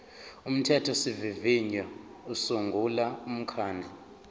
umthethosivivinyo usungula umkhandlu